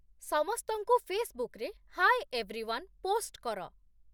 ସମସ୍ତଙ୍କୁ ଫେସବୁକ୍‌ରେ 'hi everyone' post କର